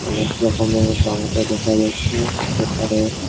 অনেক রকমের টমেটো দেখা যাচ্ছে হতে পারে।